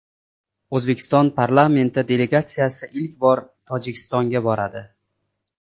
O‘zbekiston parlamenti delegatsiyasi ilk bor Tojikistonga boradi.